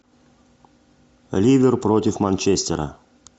ливер против манчестера